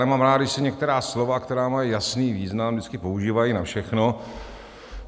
Nemám rád, když se některá slova, která mají jasný význam, vždycky používají na všechno.